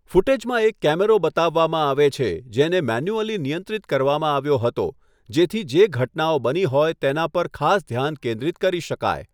ફૂટેજમાં એક કૅમેરો બતાવવામાં આવે છે, જેને મેન્યુઅલી નિયંત્રિત કરવામાં આવ્યો હતો જેથી જે ઘટનાઓ બની હોય તેના પર ખાસ ધ્યાન કેન્દ્રિત કરી શકાય.